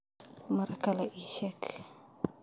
Mar kale ii sheeg.